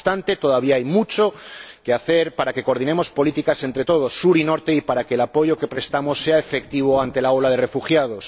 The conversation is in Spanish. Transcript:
No obstante, todavía hay mucho que hacer para que coordinemos políticas entre todos, sur y norte, y para que el apoyo que prestamos sea efectivo ante la ola de refugiados.